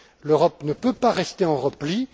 L'Europe ne peut pas rester en repli.